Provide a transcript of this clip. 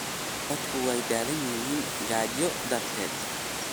Dadku way daalan yihiin gaajo darteed.